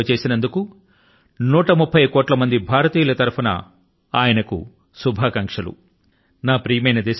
దేశసేవ చేయడం కోసం 130 కోట్ల మంది భారతీయుల పక్షాన ఆయన కు శుభాకాంక్షలను వ్యక్తం చేస్తున్నాను